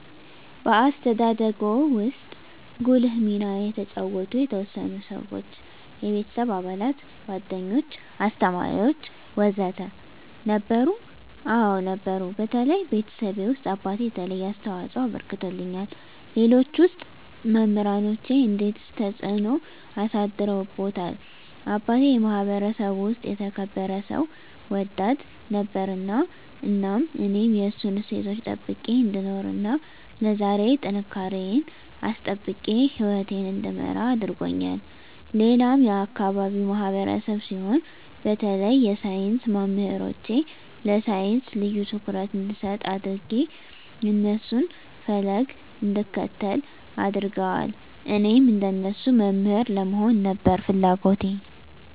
በአስተዳደግዎ ውስጥ ጉልህ ሚና የተጫወቱ የተወሰኑ ሰዎች (የቤተሰብ አባላት፣ ጓደኞች፣ አስተማሪዎች ወዘተ) ነበሩ? አዎ ነበሩ በተለይ ቤተሰቤ ውስጥ አባቴ የተለየ አስተዋፅኦ አበርክቶልኛል ሌሎች ውስጥ መምራኖቼ እንዴትስ ተጽዕኖ አሳድረውብዎታል አባቴ የማህበረሰቡ ውስጥ የተከበረ ሰው ወዳድ ነበር እናም እኔም የእሱን እሴቶች ጠብቄ እንድኖር እና ለዛሬ ጥንካሬየን አስጠብቄ ህይወቴን እንድመራ አድርጎኛል ሌላም የአካባቢው ማህበረሰብ ሲሆን በተለይ የሳይንስ መምህሮቼ ለሳይንስ ልዬ ትኩረት እንድሰጥ አድጌ የእነሱን ፈለግ እንድከተል አድርገዋል እኔም እንደነሱ መምህር ለመሆን ነበር ፍለጎቴ